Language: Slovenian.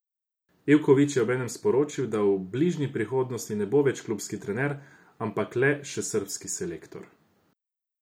Ivković je obenem sporočil, da v bližnji prihodnosti ne bo več klubski trener, ampak le še srbski selektor.